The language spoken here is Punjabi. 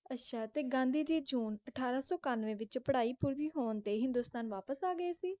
ਅੱਛਾ ਤੇ ਗਾਂਧੀ ਜੀ ਜੂਨ ਅਠਾਰਾਂ ਸੌ ਕੰਨਵੇਂ ਵਿਚ ਪੜ੍ਹਾਈ ਪੂਰੀ ਹੋਣ ਤੇ ਹਿੰਦੁਸਤਾਨ ਵਾਪਿਸ ਆ ਗਏ ਸੀ?